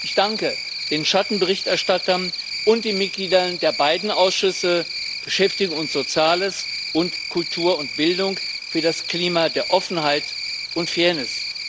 Ich danke den Schattenberichterstattern und den Mitgliedern der beiden Ausschüsse, Beschäftigung und Soziales sowie Kultur und Bildung, für das Klima der Offenheit und Fairness.